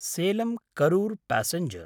Salem-Karur passenger